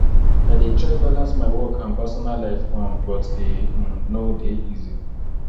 i dey try balance my work and personal life um but e um no dey easy